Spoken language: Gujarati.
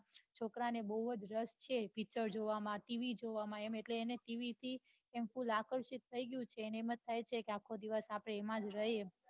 છોકરાને બહુ જ રસ છે પીચર જોવા માં TV જોવામાં એ TV થી આકર્ષિત થઈ ગયો છે એમ થાય કે આખો દિવસ એમાંજ રહીએ